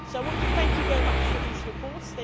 So I want to thank you very much for these reports.